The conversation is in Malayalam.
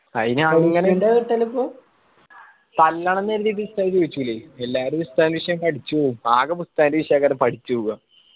അയിന് തല്ലണം ന്ന്‌ എങ്കി ഉസ്താദ് ചോയ്ച്ചൂലെ എല്ലാരു ഉസ്താദിന്റെ വിഷയം പഠിച്ച് പോവും ആകെ ഉസ്താദിന്റെ വിശെയെങ്ങാനുവ പഠിച്ച് പോവാ.